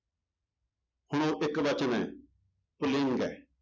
ਹੁਣ ਉਹ ਇੱਕ ਵਚਨ ਹੈ ਪੁਲਿੰਗ ਹੈ।